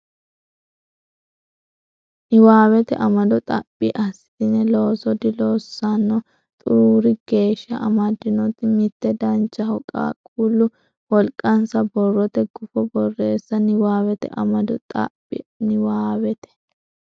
Niwaawete amado xaphi assitine Looso diloossanno xuruuri geeshsha amaddinota mitte Danchaho Qaaqquullu wolqansa borrote gufo borreesse Niwaawete amado xaphi Niwaawete.